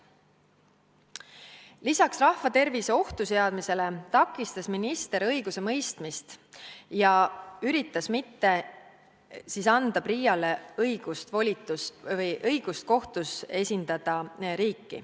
Lisaks rahva tervise ohtu seadmisele takistas minister õigusemõistmist ja üritas mitte anda PRIA-le õigust kohtus riiki esindada.